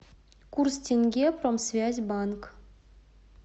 курс тенге промсвязьбанк